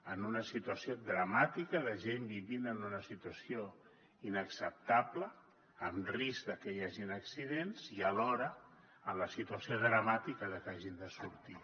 en una situació dramàtica de gent vivint en una situació inacceptable amb risc de que hi hagin accidents i alhora en la situació dramàtica de què hagin de sortir